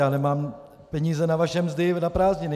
Já nemám peníze na vaše mzdy na prázdniny.